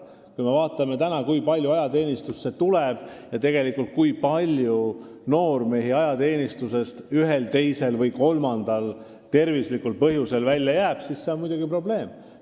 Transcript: Kui me vaatame, kui palju noormehi praegu ajateenistusse tuleb ja kuid paljud neist sealt ühel, teisel või kolmandal tervislikul põhjusel välja jäävad, siis see on muidugi probleem.